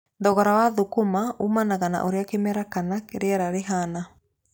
Thogora wa thũkũma umanaga na ũria kĩmera kana rĩera rĩhana.